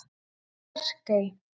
Bjarkey